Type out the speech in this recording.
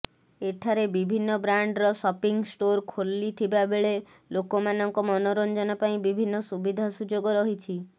ଏଠାରେ ବିଭିନ୍ନ ବ୍ରାଣ୍ଡର ସପିଂ ଷ୍ଟୋର୍ ଖୋଲିଥିବାବେଳେ ଲୋକମାନଙ୍କ ମନୋରଞ୍ଜନ ପାଇଁ ବିଭିନ୍ନ ସୁବିଧା ସୁଯୋଗ ରହିଛି